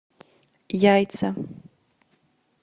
яйца